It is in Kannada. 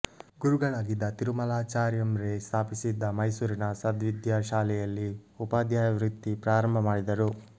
ಗುರುಗಳಾಗಿದ್ದ ತಿರುಮಲಾಚಾರ್ಯಂರೇ ಸ್ಥಾಪಿಸಿದ್ದ ಮೈಸೂರಿನ ಸದ್ವಿದ್ಯಾ ಶಾಲೆಯಲ್ಲಿ ಉಪಾಧ್ಯಾಯ ವೃತ್ತಿ ಪ್ರಾರಂಭ ಮಾಡಿದರು